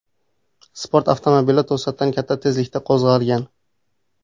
Sport avtomobili to‘satdan katta tezlikda qo‘zg‘algan.